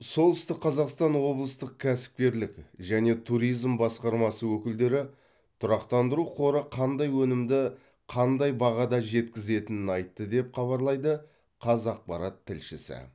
солтүстік қазақстан облыстық кәсіпкерлік және туризм басқармасы өкілдері тұрақтандыру қоры қандай өнімді қандай бағада жеткізетінін айтты деп хабарлайды қазақпарат тілшісі